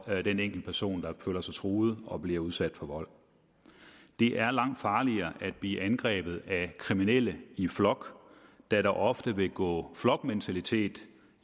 den enkelte person der føler sig truet og bliver udsat for vold det er langt farligere at blive angrebet af kriminelle i flok da der ofte vil gå flokmentalitet